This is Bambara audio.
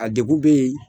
A degun bɛ yen